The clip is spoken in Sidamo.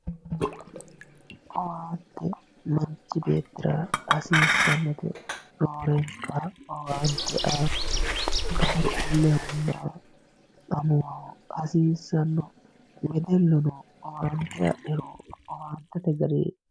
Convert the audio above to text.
owwante manchi beettira hasiissannote roorenka owaante aa qaaqquullehonna amuwaho hasiissanno wedelluno owaante adhiro owaantete garinni.